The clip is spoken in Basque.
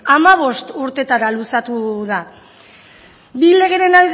hamabost urteetara luzatu da bi legeen